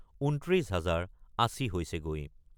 ২৯ হাজাৰ ৮০ হৈছেগৈ।